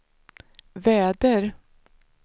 väder